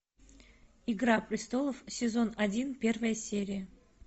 игра престолов сезон один первая серия